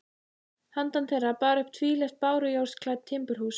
Handan þeirra bar uppi tvílyft bárujárnsklædd timburhús.